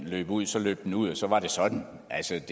løb ud så løb den ud og så var det sådan altså